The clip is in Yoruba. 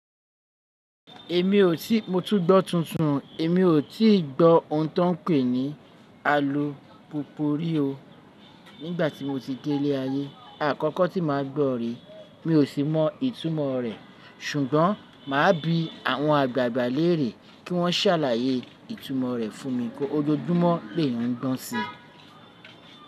Èmi ò tí mo tún gbọ́ tuntun o. Èmi ò tíì gbọ́ ohun tó ń pè ní alupopori o. Nígbà tí mo ti délé ayé àkọ́kọ́ tí màá gbọ́ rè, mi ò sì mọ ìtumọ̀ rẹ̀. Ṣugbọn maa bi awọn agbaagba lere ki wọn ṣalaye itumọ rẹ, ojoojumọ l'èèyan n gbọn si.